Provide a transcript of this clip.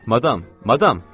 Madam, madam!